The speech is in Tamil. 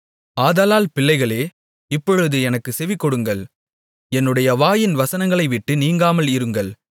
ஆதலால் பிள்ளைகளே இப்பொழுது எனக்குச் செவிகொடுங்கள் என்னுடைய வாயின் வசனங்களைவிட்டு நீங்காமல் இருங்கள்